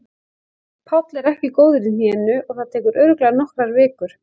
Páll er ekki góður í hnénu og það tekur örugglega nokkrar vikur.